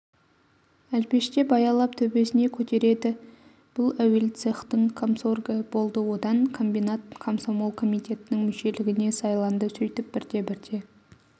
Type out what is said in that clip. әлпештеп-аялап төбесіне көтереді бұл әуел цехтің комсоргі болды одан комбинат комсомол комитетінің мүшелігіне сайланды сөйтіп бірте-бірте